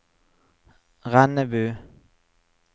Rennebu